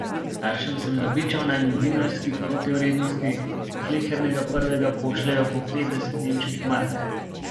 Staršem sem zabičal, naj mi v dinarski protivrednosti slehernega prvega pošljejo po petdeset nemških mark.